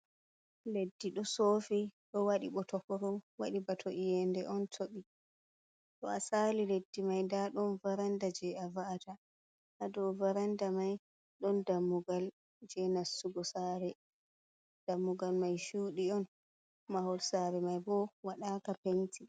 Leddi ɗo sofi ɗo wadi botokoro, waɗi bato yende on tobi, to a sali leddi mai nda ɗon varanda je a va’ata ha do varanda mai ɗon dammugal je nastugo sare, dammugal mai cudi on mahol sare mai bo wadaka penti.